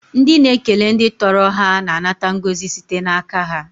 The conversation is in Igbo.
Ndị na ekele ndị tọrọ ha na anata ngọzi site n'aka ha.